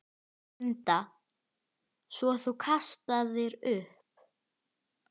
Linda: Svo þú kastaðir upp?